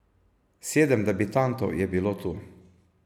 Sedem debitantov je bilo tu.